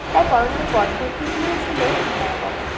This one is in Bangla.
তার পড়ানোর পদ্ধতিটি ও ছিল ভয়াবহ